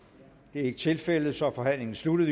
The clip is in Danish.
det er ikke tilfældet og så er forhandlingen sluttet